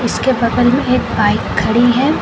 उसके बगल में एक बाइक खड़ी है।